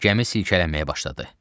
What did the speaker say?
Gəmi silkələnməyə başladı.